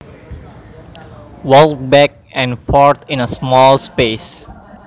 Walk back and forth in a small space